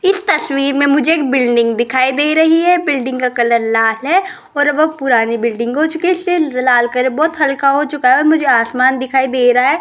इस तस्वीर में मुझे एक बिल्डिंग दिखाई दे रही है बिल्डिंग का कलर लाल है और वह पुरानी बिल्डिंग हो चुके हैं इस लिए लाल कलर बहुत हल्का हो चुका है मुझे आसमान दिखाई दे रहा है।